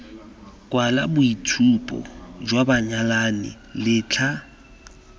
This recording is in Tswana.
kwala boitshupo jwa banyalani letlha